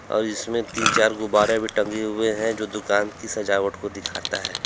और जिसमें तीन चार गुब्बारे भी टंगे हुए है जो दुकान की सजावट को दिखाता है।